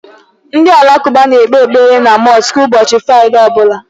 Ndị alakụba na-ekpe ekpere na mọsk n'ụbọchị Fraịdee ọbụla.